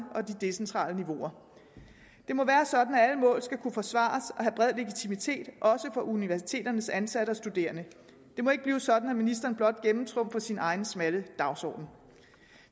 og de decentrale niveauer det må være sådan at alle mål skal kunne forsvares og have bred legitimitet også for universiteternes ansatte og studerende det må ikke blive sådan at ministeren blot gennemtrumfer sin egen smalle dagsorden